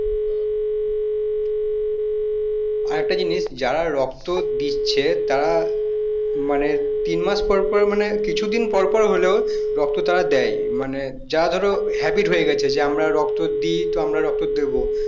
আরেকটা জিনিস যারা রক্ত দিচ্ছে তারা মানে তিন মাস পর পর মানে কিছুদিন পরপর হলেও তারা রক্ত দেয় মানে যা ধরো habit হয়ে গেছে যে আমরা রক্ত দিই তো আমরা রক্ত দেবো